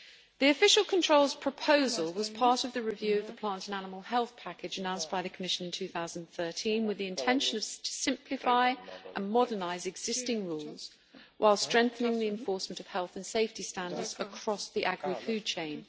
The official controls proposal was part of the review of the plant and animal health package announced by the Commission in 2013 with the intention to simplify and modernise existing rules, while strengthening the enforcement of health and safety standards across the agrifood chain.